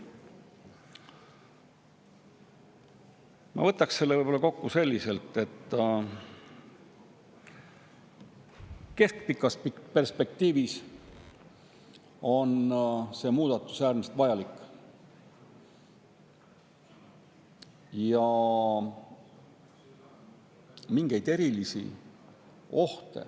Ma võtaks selle võib-olla kokku selliselt, et keskpikas perspektiivis on see muudatus äärmiselt vajalik.